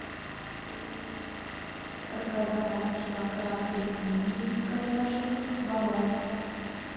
заказать килограмм пельменей говяжьих барон